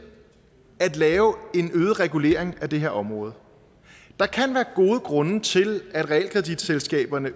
at lave en øget regulering af det her område der kan være gode grunde til at realkreditselskaberne